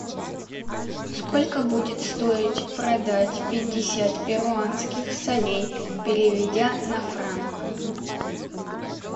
сколько будет стоить продать пятьдесят перуанских солей переведя на франк